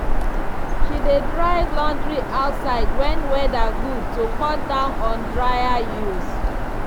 she dey dry laundry outside when weather good to cut down on dryer use.